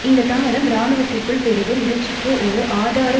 இந்த தாமதம் இராணுவத்திற்குள் பெருகும் மிரட்சிக்கு ஒரு ஆதார